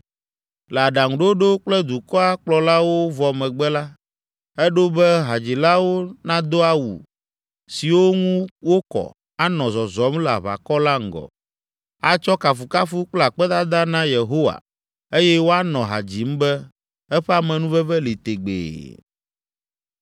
Le aɖaŋuɖoɖo kple dukɔa kplɔlawo vɔ megbe la, eɖo be hadzilawo nado awu siwo ŋu wokɔ, anɔ zɔzɔm le aʋakɔ la ŋgɔ, “Atsɔ kafukafu kple akpedada na Yehowa eye woanɔ ha dzim be, eƒe amenuveve li tegbee.”